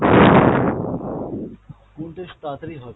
কোনটা বেশি তাড়াতাড়ি হবে?